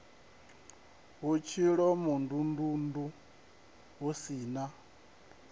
hu tshilomondundundu hu si na